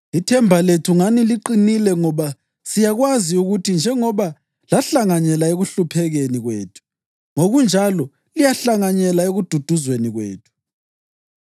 Ithemba lethu ngani liqinile ngoba siyakwazi ukuthi njengoba lahlanganyela ekuhluphekeni kwethu, ngokunjalo liyahlanganyela ekududuzweni kwethu.